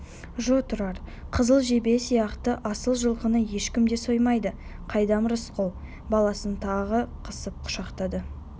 жо тұрар қызыл жебе сияқты асыл жылқыны ешкім де соймайды қайдам рысқұл баласын тағы қысып құшақтады